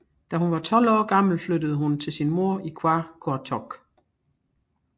Da hun var 12 år gammel flyttede hun til sin mor i Qaqortoq